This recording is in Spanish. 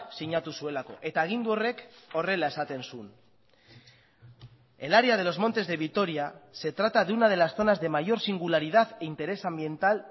sinatu zuelako eta agindu horrek horrela esaten zuen el área de los montes de vitoria se trata de una de las zonas de mayor singularidad e interés ambiental